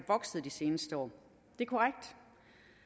vokset de seneste år